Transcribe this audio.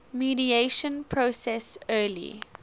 mediation process early